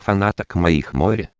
фанаток моих море